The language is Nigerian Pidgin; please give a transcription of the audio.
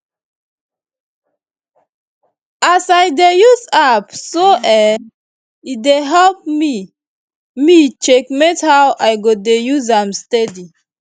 as i dey use app so[um]e dey help me me checkmate how i go dey use am steady